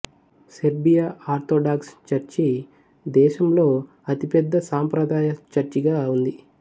Serbia orthodox church దేశం అతిపెద్ద సాంప్రదాయ చర్చిగా ఉంది